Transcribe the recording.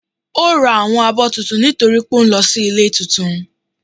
ò rá áwọn abó túntún nitori pe ò n lọ si ilé túntún.